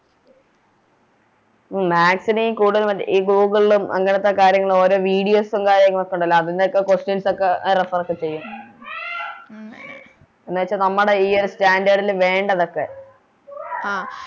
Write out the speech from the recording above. ഉം Maths ന് കൂടുതലും ഈ Google ലും അങ്ങനത്തെ കാര്യങ്ങളും ഓരോ Videos ഉം കാര്യങ്ങളൊക്കെ ഒണ്ടല്ലോ അതിൻറെ ഒക്കെ Questions ഒക്കെ Reference ചെയ്യും എന്ന് വെച്ച നമ്മടെ ഈയൊരു Standard ല് വേണ്ടതൊക്കെ